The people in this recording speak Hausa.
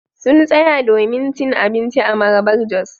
Sun tsaya domin cin abinci a Marabar-jos.